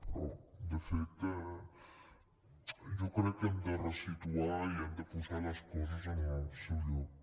però de fet jo crec que hem de ressituar i hem de posar les coses en el seu lloc